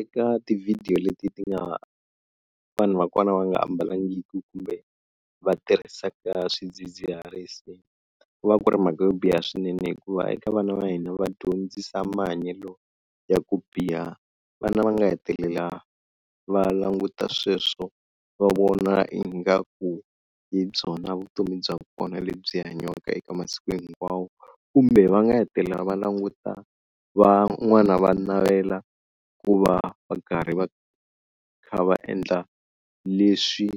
Eka ti-video leti ti nga vanhu vakona va nga ambalangiki kumbe va tirhisaka swidzidziharisi ku va ku ri mhaka yo biha swinene hikuva eka vana va hina va dyondzisa mahanyelo ya ku biha. Vana va nga hetelela va languta sweswo va vona ingaku hi byona vutomi bya kona lebyi hanyiwaka eka masiku hinkwawo. Kumbe va nga hetelela va languta van'wana va navela ku va va karhi va kha va endla leswi